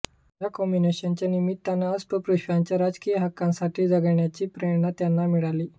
या कमिशनच्या निमित्ताने अस्पृश्यांच्या राजकीय हक्कांसाठी झगडण्याची प्रेरणा त्यांना मिळाली